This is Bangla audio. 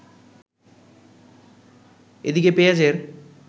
এদিকে পেঁয়াজের